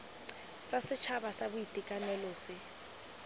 sa setšhaba sa boitekanelo se